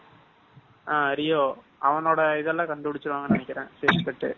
ஆஹ் ரியோ அவனோட இதெல்லாம் கண்டு பிடிச்சுருவாங்கனு நினைக்கிறன்.